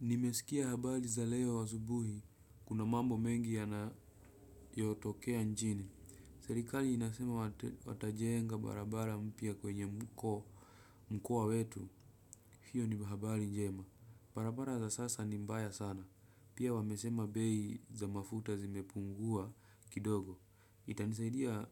Nimesikia habari za leo azubuhi, kuna mambo mengi yanayotokea nchini. Serikali inasema watajenga barabara mpya kwenye mkoa wetu, hiyo ni habari njema. Barabara za sasa ni mbaya sana. Pia wamesema bei za mafuta zimepungua kidogo itanisaidia.